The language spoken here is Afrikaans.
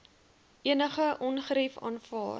enige ongerief aanvaar